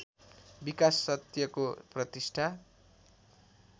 विकास सत्यको प्रतिष्ठा